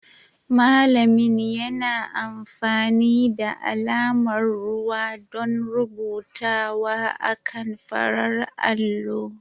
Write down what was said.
Malamin yana amfani da alamar ruwa don rubutawa akan farar allo